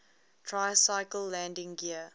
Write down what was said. tricycle landing gear